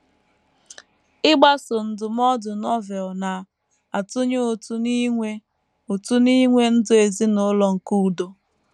Ịgbaso ndụmọdụ Novel na - atụnye ụtụ n’inwe ụtụ n’inwe ndụ ezinụlọ nke udo